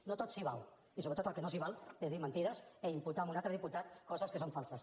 no tot s’hi val i sobretot el que no s’hi val és dir mentides i imputar a un altre diputat coses que són falses